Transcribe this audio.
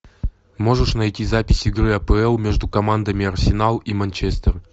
можешь найти запись игры апл между командами арсенал и манчестер